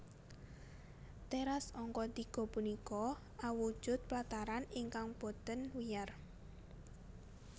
Teras angka tiga punika awujud plataran ingkang boten wiyar